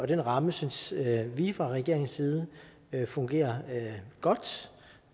den ramme synes vi fra regeringens side fungerer godt